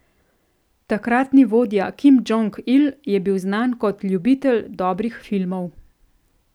Takratni vodja Kim Džong Il je bil znan kot ljubitelj dobrih filmov.